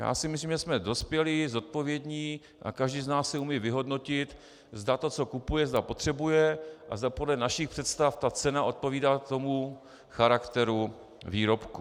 Já si myslím, že jsme dospělí, zodpovědní a každý z nás si umí vyhodnotit, zda to, co kupuje, zda potřebuje a zda podle našich představ ta cena odpovídá tomu charakteru výrobku.